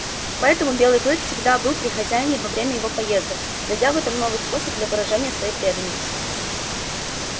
поэтому белый клык всегда был при хозяине во время его поездок найдя в этом новый способ для выражения своей преданности